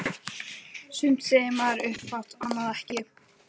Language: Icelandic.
Sumt segir maður upphátt- annað ekki.